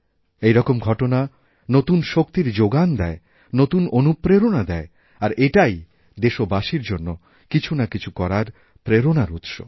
এই রকম ঘটনা নতুন শক্তিরজোগান দেয় নতুন অনুপ্রেরণা দেয় আর এটাই দেশবাসীর জন্য কিছু না কিছু করারপ্রেরণার উৎস